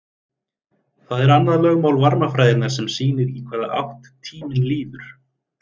Það er annað lögmál varmafræðinnar sem sýnir í hvaða átt tíminn líður.